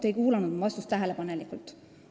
Te ei kuulanud mu vastust tähelepanelikult.